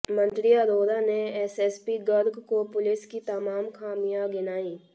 मंत्री अरोड़ा ने एसएसपी गर्ग को पुलिस की तमाम खामियां गिनाईं